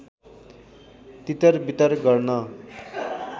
तितर वितर गर्न